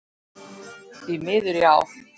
Því miður, já.